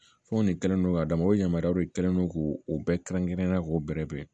Fɛnw de kɛlen do k'a d'a ma o yamaruya de kɛlen no k'u bɛɛ kɛrɛn kɛrɛnna k'o bɛrɛ bɛn